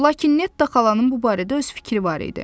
Lakin Netta xalanın bu barədə öz fikri var idi.